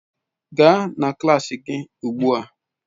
Gaa na klas gị ugbu a!